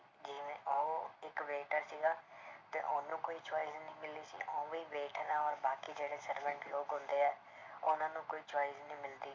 ਜਿਵੇਂ ਉਹ ਇੱਕ waiter ਸੀਗਾ ਤੇ ਉਹਨੂੰ ਕੋਈ choice ਨੀ ਮਿਲੀ ਸੀ ਉਵੇਂ ਹੀ ਔਰ ਬਾਕੀ ਜਿਹੜੇ servant ਲੋਕ ਹੁੰਦੇ ਹੈ ਉਹਨਾਂ ਨੂੰ ਕੋਈ choice ਨੀ ਮਿਲਦੀ,